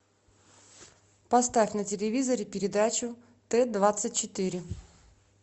поставь на телевизоре передачу т двадцать четыре